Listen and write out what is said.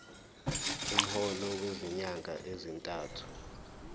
umholo wezinyanga ezintathu